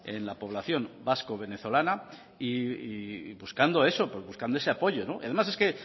en la población vasco venezolana y buscando eso buscando ese apoyo además es que